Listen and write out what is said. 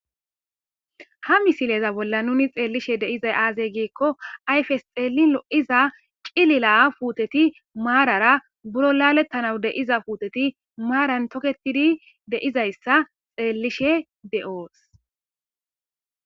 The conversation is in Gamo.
ha misileza bolla nuni xeellishe deizay aazey geekko ayfes xeelin o7iza cilila puuteti maarara buro laalettanawu de iza puuteti maaran toketidi deizayssa xeellishe de7oos